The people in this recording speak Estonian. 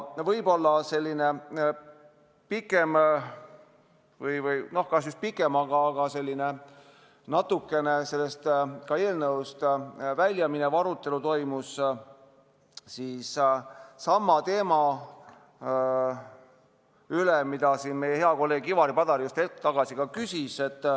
Võib-olla selline pikem – no kas just pikem, aga selline eelnõust natuke väljaminev – arutelu toimus sama teema üle, mille kohta meie hea kolleeg Ivari Padar just hetk tagasi küsis.